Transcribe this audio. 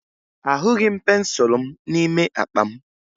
Ahụghị m pensụlụ m n'ime akpa m